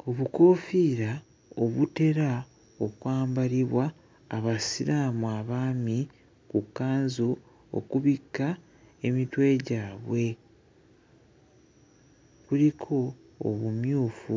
Ku bukoofiira obutera okwambaliribwa Abasiraamu abaami ku kkanzu okubikka emitwe gwabwe, kuliko obumyufu